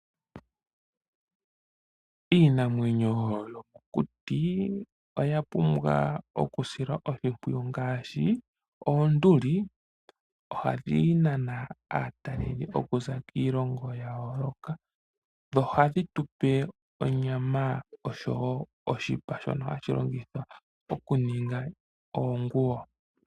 Iinamwenyo yokokuti oya pumbwa okusilwa oshimpwiyu ngaashi oonduli, ohadhi nana aatalelipo kuza kiilongo ya yooloka. Dho ohadhi tu pe onyama, osho wo oshipa shono hashi longithwa okuninga oonguwo.